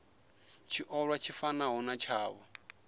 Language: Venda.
tshiolwa tshi fanaho na tshavho